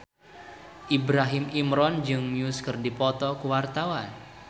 Ibrahim Imran jeung Muse keur dipoto ku wartawan